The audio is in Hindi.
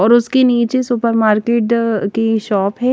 और उसके निचे सुपर मार्केट की शॉप है।